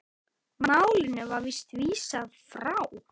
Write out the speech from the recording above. Málinu var vísað frá.